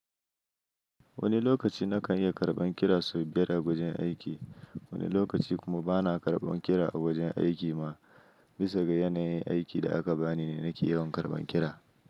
Wani lokaci na kan iya karɓan kira saboda a wajen aiki, wani lokaci kuma bana karɓan kira a wajen aiki ma. Bisa ga yanayin aikin da aka bani ne nake yawan karɓan kira.